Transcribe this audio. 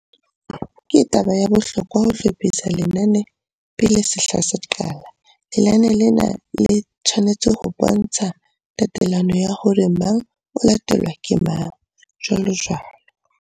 Ke taba ya bohlokwa ho hlophisa lenane pele sehla se qala. Lenane lena le tshwanetse ho bontsha tatelano ya hore mang o latelwa ke mang, jwalojwalo.